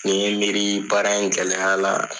Ni n ye miirii baara in gɛlɛya la